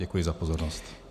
Děkuji za pozornost.